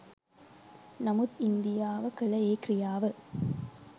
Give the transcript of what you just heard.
නමුත් ඉන්දියාව කළ ඒ ක්‍රියාව